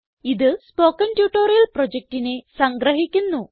ഇത് spoken tutorial പ്രൊജക്റ്റിനെ സംഗ്രഹിക്കുന്നു